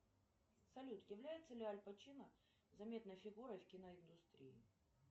салют является ли аль пачино заметной фигурой в киноиндустрии